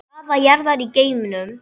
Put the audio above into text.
Staða jarðar í geimnum